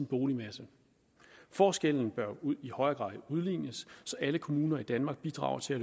boligmasse forskellene bør i højere grad udlignes så alle kommuner i danmark bidrager til at